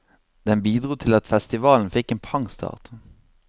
Den bidro til at festivalen fikk en pangstart.